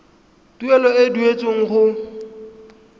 tuelo e e duetsweng go